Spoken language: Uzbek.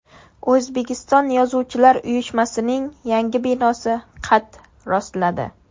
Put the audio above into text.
O‘zbekiston yozuvchilar uyushmasining yangi binosi qad rostladi.